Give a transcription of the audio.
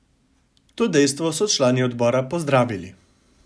To dejstvo so člani odbora pozdravili.